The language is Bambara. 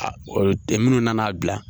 tɛ munnu nana a bila.